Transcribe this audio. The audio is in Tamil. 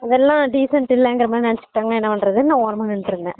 அதெல்லாம் decent இல்லைன்குற மாறி நினைச்சுட்டா என்ன பண்றதுன்னு நான் ஓரமா நின்னுட்டு இருந்தேன்